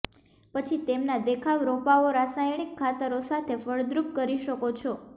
પછી તેમના દેખાવ રોપાઓ રાસાયણિક ખાતરો સાથે ફળદ્રુપ કરી શકો છો